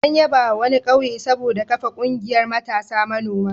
An yabawa wani ƙauye saboda kafa ƙungiyar matasa manoma.